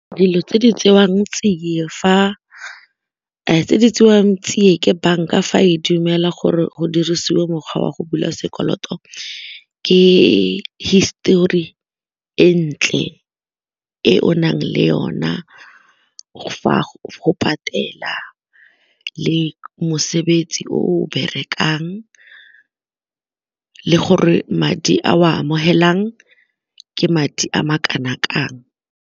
Dilo tse di tsewang tsia ke banka fa e dumela gore go dirisiwa mokgwa wa go bula sekoloto ke histori e ntle e o nang le yona fa go patela le mosebetsi o o berekang le gore madi a o a amogelang ke madi a ma kana kang.